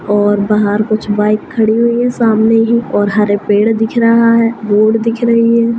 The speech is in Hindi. और बाहर कुछ बाइक खड़ी हुई है सामने ही और हरे पेड़ दिख रहा है रोड दिख रही है।